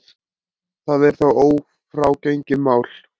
Það er þó ófrágengið mál.